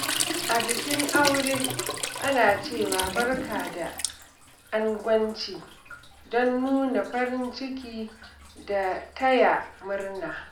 A bikin aure, ana cewa, "Barka da angwanci," don nuna farin ciki da taya murna.